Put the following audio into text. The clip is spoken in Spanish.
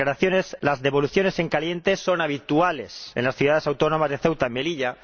Las devoluciones en caliente son habituales en las ciudades autónomas de Ceuta y Melilla.